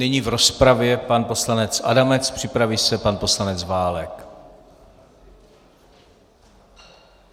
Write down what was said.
Nyní v rozpravě pan poslanec Adamec, připraví se pan poslanec Válek.